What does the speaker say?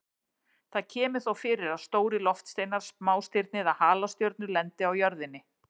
Það kemur þó fyrir að stórir loftsteinar, smástirni eða halastjörnur lendi á jörðinni.